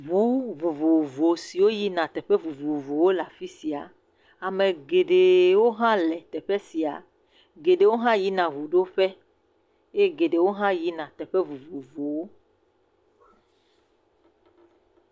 Ŋu vovovowo siwo yina ɖe teƒe vovovowo le afi sia. Ame geɖewo hã le teƒe sia. Ame geɖewo hã yina ŋu ɖo ƒe eye geɖewo hã yina teƒe vovovowo.